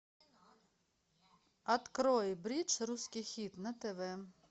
открой бридж русский хит на тв